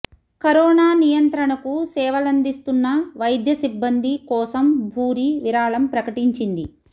corona నియంత్రణకు సేవలందిస్తున్న వైద్య సిబ్బంది కోసం భూరి విరాళం ప్రకటించింది